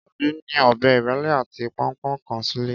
Káyọ̀dé ní ọ̀bẹ ìrẹ́lé àti pọnpọ́n kan sílé